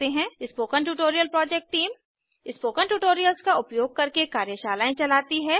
spoken tutorial project team spoken tutorials का उपयोग करके कार्यशालाएं चलाती है